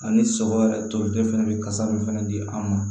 Ani sɔgɔ yɛrɛ tolilen fɛnɛ bɛ kasa min fɛnɛ di an ma